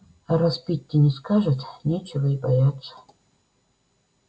а раз питти не скажет нечего и бояться